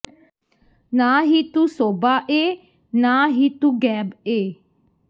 ਨਾ ਹੀ ਤੂੰ ਸੋਭਾ ਏ ਨਾ ਹੀ ਤੂੰ ਗੈਬ ਏ